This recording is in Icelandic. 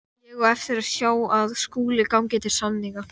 Ég á eftir að sjá að Skúli gangi til samninga.